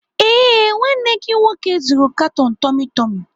Ee, nwanne gị nwoke zụrụ katon tummy tummy.